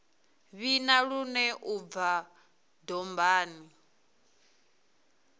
vhina lune u bva dombani